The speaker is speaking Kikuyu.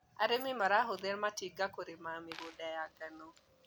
Arĩmi marahũthĩra matinga kũrĩma mĩgunda ya ngano.